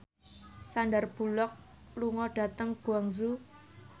Sandar Bullock lunga dhateng Guangzhou